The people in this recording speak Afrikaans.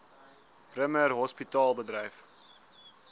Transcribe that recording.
bremer hospitaal bedryf